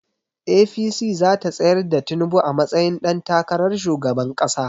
APC zata tsayar da tinubu a matsayin ɗan takarar shugaban ƙasa